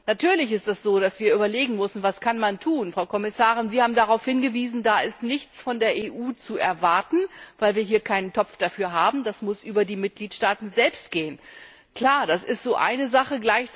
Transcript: Natürlich ist es so, dass wir überlegen müssen, was man tun kann. Frau Kommissarin, Sie haben darauf hingewiesen Da ist nichts von der EU zu erwarten, weil wir dafür keinen Topf haben, das muss über die Mitgliedsaaten selbst gehen. Klar, das ist so eine Sache.